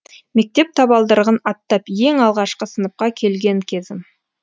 мектеп табалдырығын аттап ең алғашқы сыныпқа келген кезім